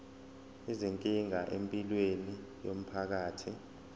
izinkinga empilweni yomphakathi